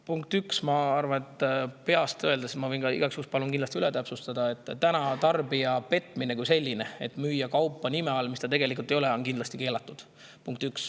Punkt üks, ma arvan – ütlen peast ja igaks juhuks kindlasti palun üle täpsustada –, et tarbija petmine kui selline, müües kaupa nime all, mis see tegelikult ei ole, on keelatud.